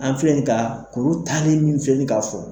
An filɛ bin ye ka kuru tanin min filɛ bin ye k'a fɔ